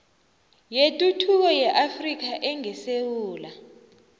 yetuthuko yeafrika engesewula